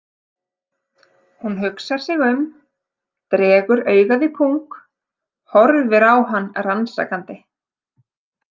Hún hugsar sig um, dregur augað í pung, horfir á hann rannsakandi.